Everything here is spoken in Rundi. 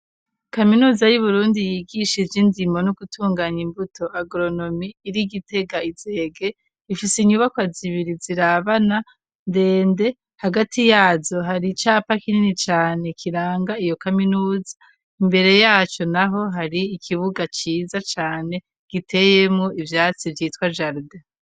Kaminuza y'Uburundi yigisha indimo no gutunganya imbuto agronomi iri Gitega i zege ifise inyubakwa zibiri zirabana ndende hagati yazo hari icapa kinini cane kiranga iyo kaminuza imbere yaco naho hari ikibuga ciza cane giteyemwo ivyatsi vyitwa jardin.